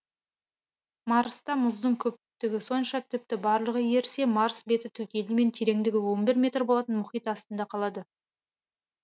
марста мұздың көптігі сонша тіпті барлығы ерісе марс беті түгелімен тереңдігі он бір метр болатын мұхит астында қалады